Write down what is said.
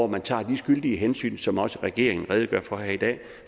man tager de skyldige hensyn som også regeringen redegør for her i dag